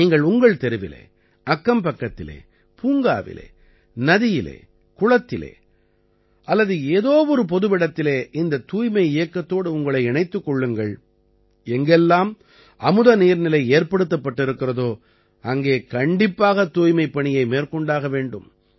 நீங்கள் உங்கள் தெருவிலே அக்கம்பக்கத்திலே பூங்காவிலே நதியிலே குளத்திலே அல்லது ஏதோவொரு பொதுவிடத்திலே இந்தத் தூய்மை இயக்கத்தோடு உங்களை இணைத்துக் கொள்ளுங்கள் எங்கெல்லாம் அமுத நீர்நிலை ஏற்படுத்தப்பட்டிருக்கிறதோ அங்கே கண்டிப்பாகத் தூய்மைப்பணியை மேற்கொண்டாக வேண்டும்